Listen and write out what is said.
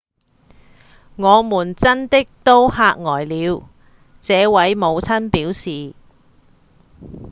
「我們真的都嚇呆了」這位母親表示